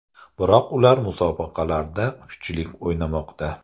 Biroq ular musobaqalarda kuchli o‘ynamoqda.